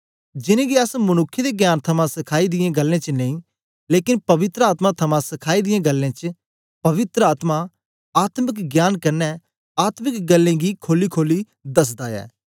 जिनेंगी अस मनुक्खें दे ज्ञान थमां सखाई दियें गल्लें च नेई लेकन पवित्र आत्मा थमां सखाई दियें गल्लें च पवित्र आत्मा आत्मिक ज्ञान कन्ने आत्मिक गल्लें गी खोलीखोली दसदा ऐ